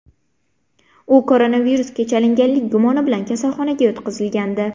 U koronavirusga chalinganlik gumoni bilan kasalxonaga yotqizilgandi.